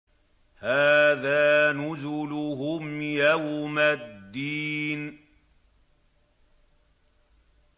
هَٰذَا نُزُلُهُمْ يَوْمَ الدِّينِ